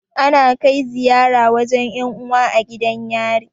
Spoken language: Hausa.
Ana kai ziyara wajan 'yan uwa a gidan yari.